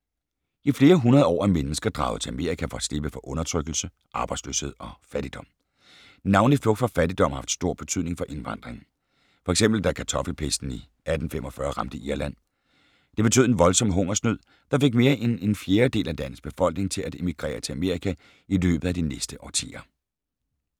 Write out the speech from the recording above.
I flere hundrede år er mennesker draget til Amerika for at slippe for undertrykkelse, arbejdsløshed og fattigdom. Navnlig flugt fra fattigdom har haft stor betydning for indvandringen. F.eks. da kartoffelpesten i 1845 ramte Irland. Det betød en voldsom hungersnød, der fik mere end en fjerdedel af landets befolkning til at emigrere til Amerika i løbet af de næste årtier.